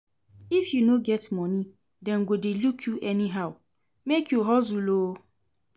If you no get moni, dem go dey look you anyhow, make you hustle o.